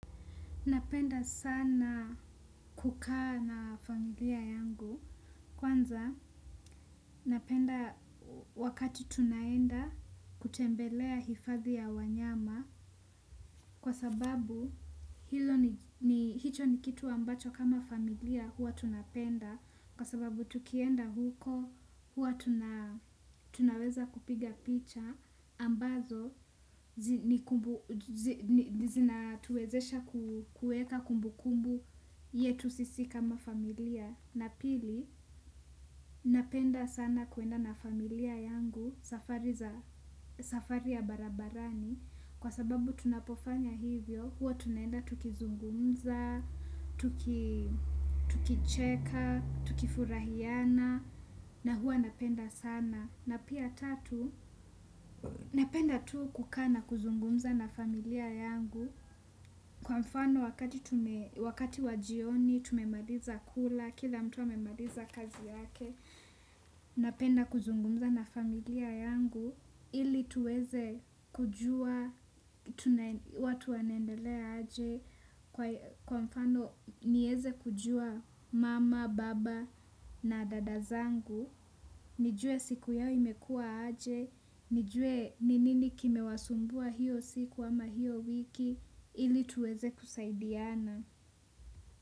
Napenda sana kukaa na familia yangu. Kwanza napenda wakati tunaenda, kutembelea hifadhi ya wanyama, kwa sababu hilo ni hicho ni kitu ambacho kama familia, hua tunapenda, kwa sababu tukienda huko hua tunaweza kupiga picha, ambazo, zinatuwezesha kuweka kumbu kumbu, yetu sisi kama familia. Na pili, napenda sana kuenda na familia yangu, safari za safari ya barabarani, kwa sababu tunapofanya hivyo huwa tunaenda tukizungumza, tukicheka, tukifurahiana na huwa napenda sana. Na pia tatu, napenda tu kukaa na kuzungumza na familia yangu, kwa mfano wakati wajioni, tumemaliza kula, kila mtu amemaliza kazi yake, napenda kuzungumza na familia yangu, ili tuweze kujua, watu wanaendelea aje? Kwa mfano, nieze kujua mama, baba na dada zangu, nijue siku yao imekua aje? Nijue ninini kimewasumbua hiyo siku ama hiyo wiki, ili tuweze kusaidiana.